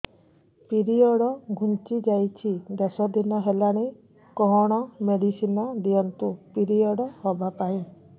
period ଘୁଞ୍ଚି ଯାଇଛି ଦଶ ଦିନ ହେଲାଣି କଅଣ ମେଡିସିନ ଦିଅନ୍ତୁ ପିରିଅଡ଼ ହଵା ପାଈଁ